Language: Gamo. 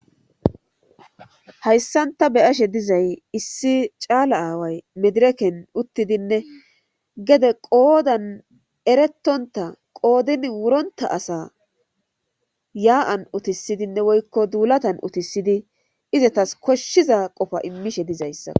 Hayssan ta beyashe dizay issi caala aaway medireken uttidinne gede qoodan eretonta qoodin wuronta asa yaa7an utisidinne woykko duulatan utisidi izatas koshshiza qofa immishe dizayssa.